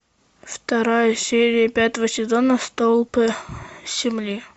вторая серия пятого сезона столпы земли